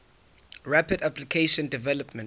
rapid application development